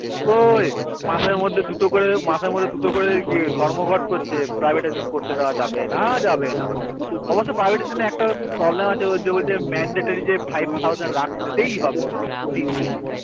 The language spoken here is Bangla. কোই মাসের মাসের মধ্যে দুটো করে ধর্ম ঘাট করছে privatism করতে দেওয়া যাবে না যাবে না অবশ্য privatism একটা problem আছে ওই যে বলছে mendatori যে five thousand রাখতেই হবে প্রতি দিন